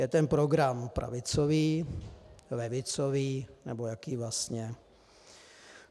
Je ten program pravicový, levicový nebo jaký vlastně?